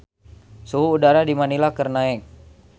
Suhu udara di Manila keur naek